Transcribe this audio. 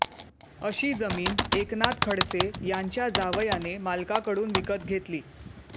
अशी जमीन एकनाथ खडसे यांच्या जावयाने मालकाकडून विकत घेतली